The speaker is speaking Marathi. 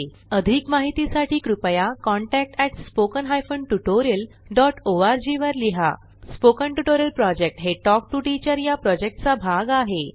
अधिक माहितीसाठी कृपया contact at spoken hyphen tutorial dot ORG वर लिहा स्पोकन ट्युटोरियल प्रॉजेक्ट हे टॉक टू टीचर या प्रॉजेक्टचा भाग आहे